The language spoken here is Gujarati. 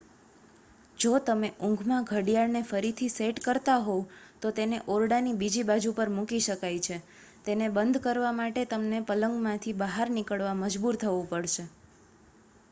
જો તમે ઊંઘમાં ઘડિયાળને ફરીથી સેટ કરતા હોવ તો તેને ઓરડાની બીજી બાજુ પર મૂકી શકાય છે તેને બંધ કરવા માટે તમને પલંગમાંથી બહાર નીકળવા મજબૂર થવું પડશે